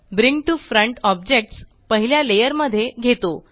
bring to front objects पहिल्या layer मध्ये घेतो